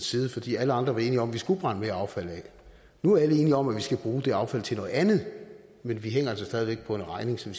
side fordi alle andre var enige om at vi skulle brænde mere affald af nu er alle enige om at vi skal bruge det affald til noget andet men vi hænger altså stadig væk på en regning som